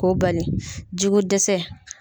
K'o bali ji ko dɛsɛ